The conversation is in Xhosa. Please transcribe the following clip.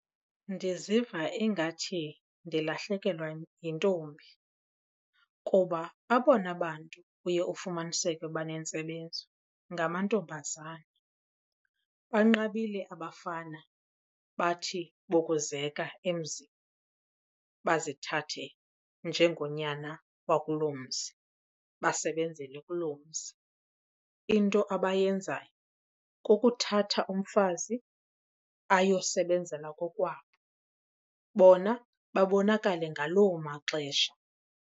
Ndiziva ingathi ndilahlekelwa yintombi kuba abona bantu uye ufumaniseke banentsebenzo ngamantombazana. Banqabile abafana bathi bokuzeka emzini bazithathe njengonyana wakuloo mzi basebenzele kuloo mzi. Into abayenzayo kukuthatha umfazi ayokusebenzela kokwabo bona babonakale ngaloo maxesha.